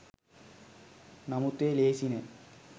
නමුත් එය ලෙහෙසි නෑ